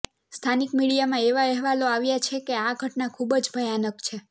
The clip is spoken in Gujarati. સ્થાનિક મીડિયામાં એવા અહેવાલો આવ્યા છે કે આ ઘટના ખૂબ જ ભયાનક છે